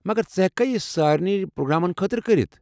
مگر ژٕ ہیٚککھا یہِ سارنی پروگرامن خٲطرٕ کٔرِتھ؟